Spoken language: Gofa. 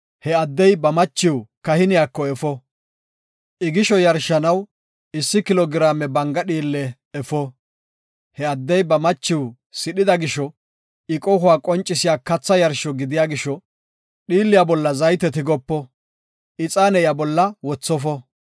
he addey ba machiw kahiniyako efo. I gisho yarshanaw issi kilo giraame banga dhiille efo. He addey ba machiw sidhida gisho, I qohuwa qoncisiya katha yarsho gidiya gisho, dhiilliya bolla zayte tigopo; ixaane iya bolla wothofo.”